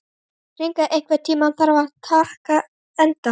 Hinrika, einhvern tímann þarf allt að taka enda.